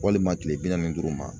Walima kile bi naani ni duuru ma